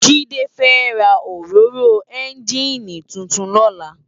Jide fè rá óróró ènjiní tútún lòlá